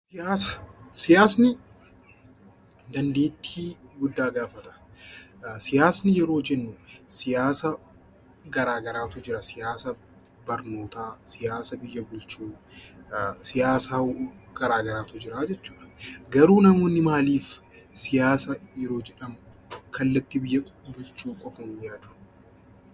Siyaasni dandeettii guddaa gaafata. Siyaasni yeroo jennu siyaasa garaa garaatu jira. Siyaasa barnootaa, siyaasa biyya bulchuu siyaasa garaa garaatu jira jechuudha. Garuu namoonni maaliif siyaasa yeroo jedhamu kallattii biyya bulchuu qofaan yaadu?